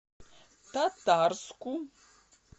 татарску